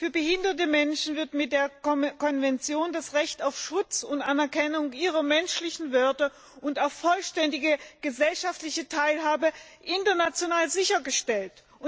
Für behinderte Menschen wird mit der Konvention das Recht auf Schutz und Anerkennung ihrer menschlichen Werte und auf vollständige gesellschaftliche Teilhabe international sichergestellt.